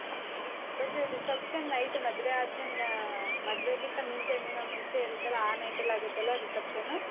hmm, but reception night ಮದ್ವೆ ಆದ್ಮೇಲೆ ಆಹ್ ಮದ್ವೆಗಿಂತ ಮುಂಚೆ ಒಂದ್ ದಿನ ಮುಂಚೆ ಇರತ್ತಲ್ಲ ಆ night ಅಲ್ಲಾಗತ್ತಲ್ಲ reception